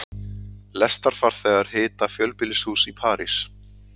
Lestarfarþegar hita fjölbýlishús í París